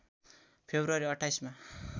February २८ मा